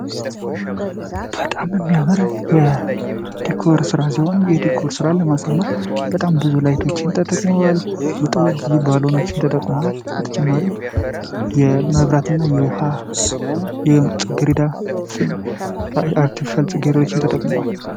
በጣም የሚያምር ስራ ሲሆን የዲኮር ስራ በጣም ብዙ መብራቶችን ተጠቅሟል ብዙ ባልሆነዎችን ተጠቅማል በተጨማሪ የመብራት የውሃ የጽጌረዳ አርቲፊሻል ጌሬዳዎችን ተጠቅሟል።